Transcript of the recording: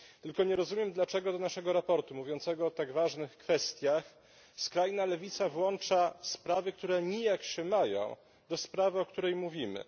Tylko nie rozumiem, dlaczego do naszego sprawozdania mówiącego o tak ważnych kwestiach skrajna lewica włącza sprawy, które nijak się mają do sprawy, o której mówimy.